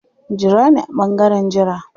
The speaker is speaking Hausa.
Jira ni a ɓangaren jira.